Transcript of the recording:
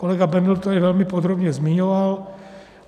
Kolega Bendl to tady velmi podrobně zmiňoval.